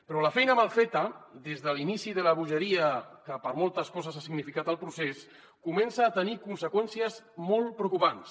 però la feina mal feta des de l’inici de la bogeria que per a moltes coses ha significat el procés comença a tenir conseqüències molt preocupants